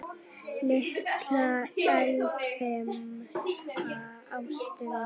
Litla eldfima ástin mín.